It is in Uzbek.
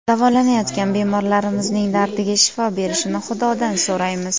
Davolanayotgan bemorlarimizning dardiga shifo berishini Xudodan so‘raymiz.